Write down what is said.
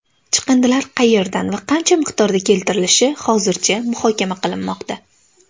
Chiqindilar qayerdan va qancha miqdorda keltirilishi hozircha muhokama qilinmoqda.